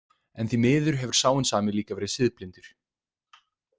En því miður hefur sá hinn sami líka verið siðblindur.